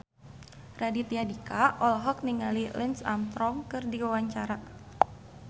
Raditya Dika olohok ningali Lance Armstrong keur diwawancara